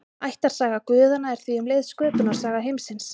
Ættarsaga guðanna er því um leið sköpunarsaga heimsins.